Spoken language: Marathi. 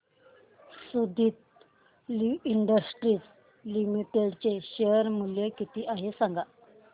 सुदिति इंडस्ट्रीज लिमिटेड चे शेअर मूल्य किती आहे सांगा